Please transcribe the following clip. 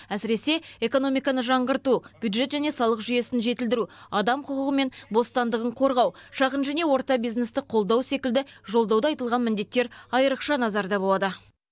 әсіресе экономиканы жаңғырту бюджет және салық жүйесін жетілдіру адам құқығы мен бостандығын қорғау шағын және орта бизнесті қолдау секілді жолдауда айтылған міндеттер айрықша назарда болады